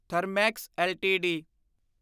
Thermax LTD